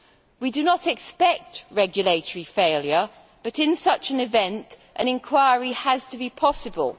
We do not expect regulatory failure but, in such an event, an inquiry has to be possible.